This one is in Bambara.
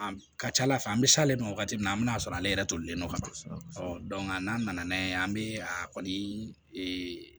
An ka ca ala fɛ an bɛ s'ale ma wagati min na an bɛ n'a sɔrɔ ale yɛrɛ tolilen don ka ban n'a nana n'a ye an bɛ a kɔni